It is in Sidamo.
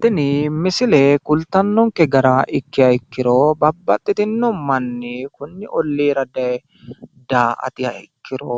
Tini misile kultannonke gara ikkiha ikkiro babbaxxitinno manni konni olliira daye daa"atiha ikkiro